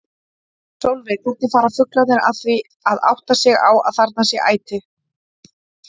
Sólveig: Hvernig fara fuglarnir að því að átta sig á að þarna sé æti?